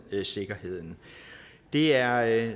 sikkerheden det er